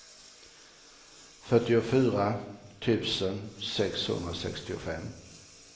fyrtiofyra tusen sexhundrasextiofem